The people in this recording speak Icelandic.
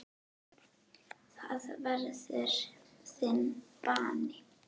Það verður þinn bani.